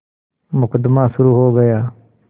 मुकदमा शुरु हो गया